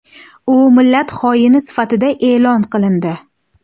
U millat xoini sifatida e’lon qilindi.